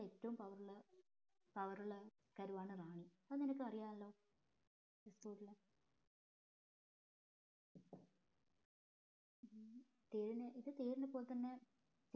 ഏറ്റവും power ഉള്ള power ഉള്ള കരുവാണ് റാണി അത് നിനക്ക് അറിയാലോ തീരിന് ഇത് തീരിന് പൊൽത്തന്നെ